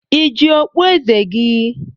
Ị ji okpu eze gị!